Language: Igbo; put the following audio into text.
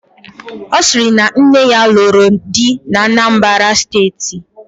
Ọ sịrị na nne ya lụrụ di n'Anambara steeti